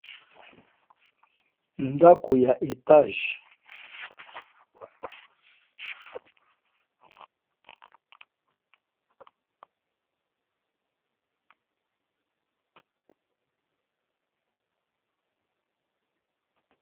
Ndaku ya mulai ya étage.